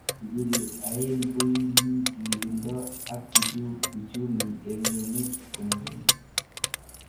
Tukuju aeng koimi tililindo ak uchumu eng eng emet.